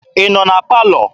Ị nọ na palọ?